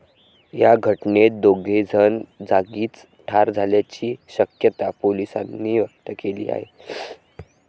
या घटनेत दोघेजण जागीच ठार झाल्याची शक्यता पोलिसांनी व्यक्त केली आहे.